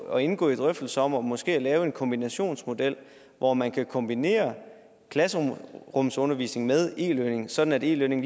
at indgå i drøftelser om måske at lave en kombinationsmodel hvor man kombinerer klasserumsundervisning med e learning sådan at e learning